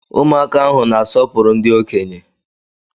Ụmụaka ahụ na-asọpụrụ ndị okenye.